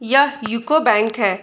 यह UCO bank है।